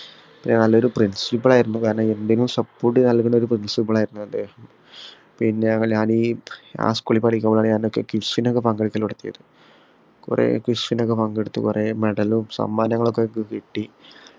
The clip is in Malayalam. പിന്നെ നല്ലൊരു principal ആയിരുന്നു കാരണം എന്തിനും support ചെയ്യണ നല്ലൊരു principal ആയിരുന്നു അദ്ദേഹം പിന്നെ ഞാനീ ആ school ൽ പഠിക്കുമ്പോ ഞാനൊക്കെ quiz നൊക്കെ പങ്കെടുക്കൽ നടത്തിരുന്ന് കൊറേ quiz നൊക്കെ പങ്കെടുത്തു കൊറേ medal ഉം സമ്മാനങ്ങളൊക്കെ കിട്ടി